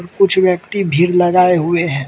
कुछ व्यक्ति भीड़ लगाए हुए हैं।